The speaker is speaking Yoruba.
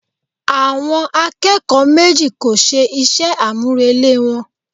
Àwọn akẹ́kọ̀ọ́ méjì kò ṣe iṣẹ́ àmúrelé wọn